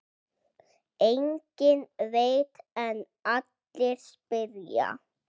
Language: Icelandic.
Enginn veit en allir spyrja.